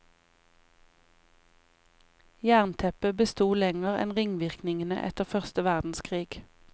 Jernteppet besto lenger enn ringvirkningene etter første verdenskrig.